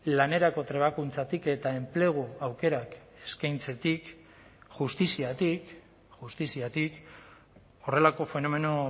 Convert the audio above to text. lanerako trebakuntzatik eta enplegu aukerak eskaintzetik justiziatik justiziatik horrelako fenomeno